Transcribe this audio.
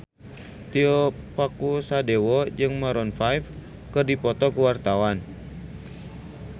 Tio Pakusadewo jeung Maroon 5 keur dipoto ku wartawan